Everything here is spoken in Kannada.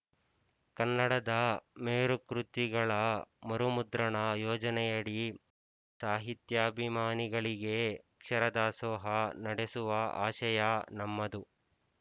ಕನ್ನಡದ ಮೇರುಕೃತಿಗಳ ಮರುಮುದ್ರಣ ಯೋಜನೆಯಡಿ ಸಾಹಿತ್ಯಾಭಿಮಾನಿಗಳಿಗೆ ಅಕ್ಷರದಾಸೋಹ ನಡೆಸುವ ಆಶಯ ನಮ್ಮದು